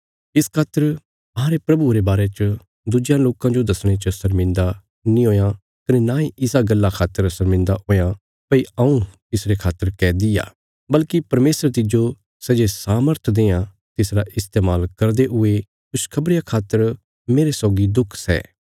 इस खातर अहांरे प्रभुये रे बारे च दुज्यां लोकां जो दसणे च शर्मिन्दा नीं हुयां कने नांई इसा गल्ला खातर शर्मिन्दा हुयां भई हऊँ तिसरे खातर कैदी आ बल्कि परमेशर तिज्जो सै जे सामर्थ देआं तिसरा इस्तेमाल करदे हुये खुशखबरिया खातर मेरे सौगी दुख सै